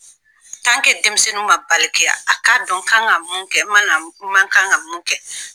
denmisɛnnu ma balikiya a ka dɔn n kan ka mun kɛ, n man kan ka mun kɛ